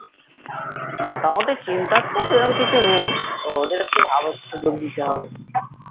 মোটামুটি চিন্তার তো সে রকম কিছু নেই তো ওদের একটু . সুযোগ দিতে হবে